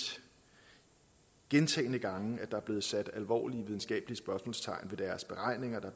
gentagne gange at der er blevet sat alvorlige videnskabelige spørgsmålstegn ved deres beregninger der